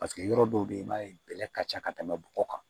Paseke yɔrɔ dɔw bɛ yen i b'a ye bɛlɛ ka ca ka tɛmɛ bɔgɔ kan